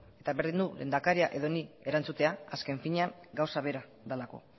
eta berdin du lehendakaria edo ni erantzutea azken finean gauza bera delako